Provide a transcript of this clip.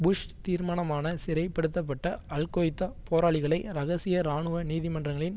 push தீர்மானமான சிறைப்படுத்தப்பட்ட al Qaeda போராளிகளை ரகசிய ராணுவ நீதிமன்றங்களின்